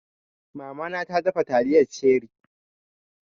Mama na ta dafa taliyar ceri